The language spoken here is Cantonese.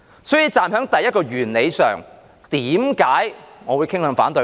所以，站在第一個原理上，為甚麼我會傾向反對呢？